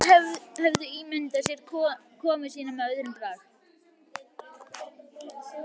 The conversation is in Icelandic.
Þeir höfðu ímyndað sér komu sína með öðrum brag.